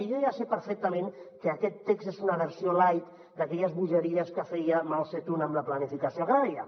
i jo ja sé perfectament que aquest text és una versió light d’aquelles bogeries que feia mao tse tung amb la planificació agrària